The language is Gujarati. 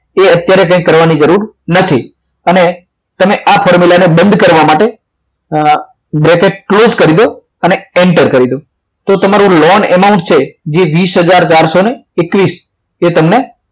તે અત્યારે કે કરવાની જરૂર નથી અને આ formula ને બંધ કરવા માટે આ bracket close કરી દો અને અને enter કરી દો તો તમારું loan account છે જે વીસ હજાર ચારસો એકવીસ તે તમને